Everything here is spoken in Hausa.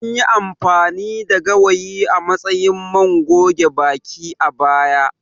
Anyi amfani da gawayi a matsayin man goge baki, a baya.